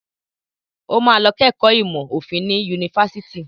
Ó máa lọ kẹ́kọ̀ọ́ ìmọ̀ òfin ní yunifásitì.